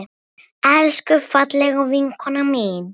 Elsku, fallega vinkona mín.